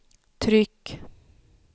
tryck